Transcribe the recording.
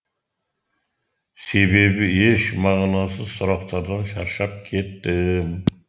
себебі еш мағынасыз сұрақтардан шаршап кеттім